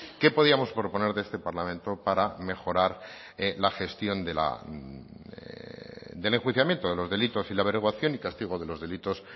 qué podíamos proponer de este parlamento para mejorar la gestión de la del enjuiciamiento de los delitos y la averiguación y castigo de los delitos